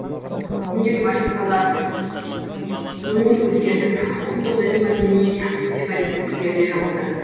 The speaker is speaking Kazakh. бүгінде революциялар өңін өзгертіп ұлттық діни мәдени сепаратистік перде жамылды